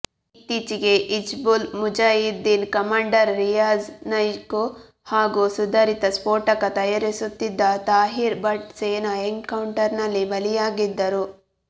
ಇತ್ತೀಚೆಗೆ ಹಿಜ್ಬುಲ್ ಮುಜಾಹಿದ್ದೀನ್ ಕಮಾಂಡರ್ ರಿಯಾಝ್ ನೈಕೂ ಹಾಗೂ ಸುಧಾರಿತ ಸ್ಫೋಟಕ ತಯಾರಿಸುತ್ತಿದ್ದ ತಾಹೀರ್ ಭಟ್ ಸೇನಾ ಎನ್ಕೌಂಟರ್ನಲ್ಲಿ ಬಲಿಯಾಗಿದ್ದರು